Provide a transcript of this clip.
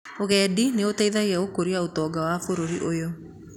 ũgendi nĩũtheithĩtie gũkũria utonga wa búrũri ũyũ